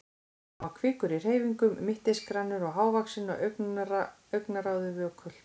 Hann var kvikur í hreyfingum, mittisgrannur og hávaxinn og augnaráðið vökult.